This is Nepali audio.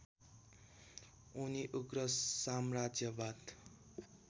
उनी उग्रसाम्राज्यवाद